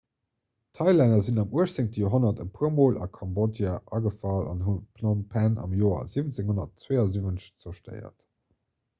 d'thailänner sinn am 18 joerhonnert e puer mol a kambodja agefall an hunn phnom phen am joer 1772 zerstéiert